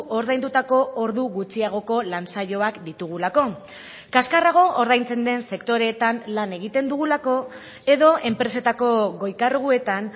ordaindutako ordu gutxiagoko lan saioak ditugulako kaskarrago ordaintzen den sektoreetan lan egiten dugulako edo enpresetako goi karguetan